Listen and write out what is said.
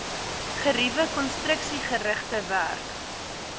geriewe konstruksiegerigte werk